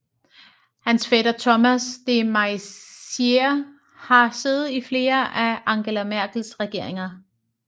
Hans fætter Thomas de Maizière har siddet i flere af Angela Merkels regeringer